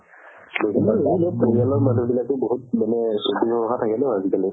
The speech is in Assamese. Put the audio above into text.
পৰিয়ালৰ মানুহ বিলাকও বহুত মানে চকু চৰহা থাকে ন আজিকালি